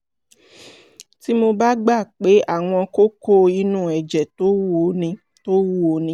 tí mo bá gbà pé àwọn kókó inú ẹ̀jẹ̀ tó wúwo ni tó wúwo ni